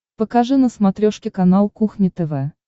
покажи на смотрешке канал кухня тв